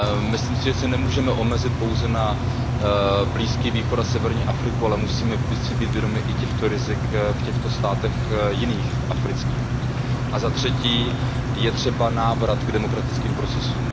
Myslím si, že se nemůžeme omezit pouze na Blízký východ a severní Afriku, ale musíme si být vědomi i těchto rizik v těchto jiných afrických státech. A za třetí je třeba návrat k demokratickým procesům.